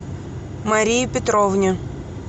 марии петровне